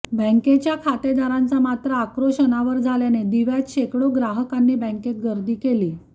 बँकेच्या खातेदारांचा मात्र आक्रोश अनावर झाल्याने दिव्यात शेकडो ग्राहकांनी बँकेत गर्दी केली